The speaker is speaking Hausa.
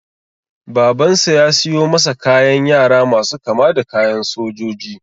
Babansa ya siyo masa kayan yara masu kama da kayan sojoji.